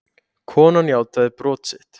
Konan játaði brot sitt